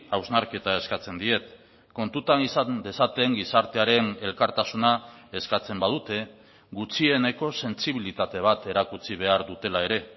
hausnarketa eskatzen diet kontutan izan dezaten gizartearen elkartasuna eskatzen badute gutxieneko sentsibilitate bat erakutsi behar dutela ere